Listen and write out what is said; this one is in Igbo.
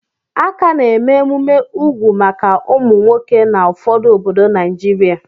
A ka na-eme emume úgwù maka ụmụ nwoke na ụfọdụ obodo Naijiria.